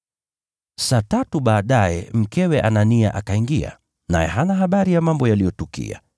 Saa tatu baadaye mkewe Anania akaingia, naye hana habari ya mambo yaliyotukia.